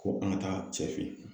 Ko an ka taa cɛ fe yen.